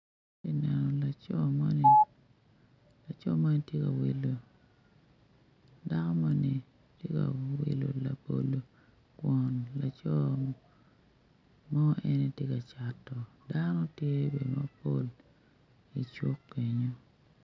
Ati neno laco moni laco moni ti wilo dako moni ti ka wilo labolo kwon mo eni ti ka cato dano tye bene mapol i kenyo